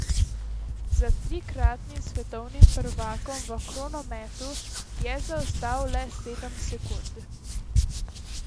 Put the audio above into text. Za trikratnim svetovnim prvakom v kronometru je zaostal le sedem sekund.